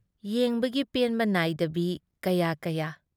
ꯌꯦꯡꯕꯒꯤ ꯄꯦꯟꯕ ꯅꯥꯏꯗꯕꯤ ꯀꯌꯥ ꯀꯌꯥ꯫